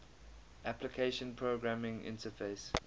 application programming interface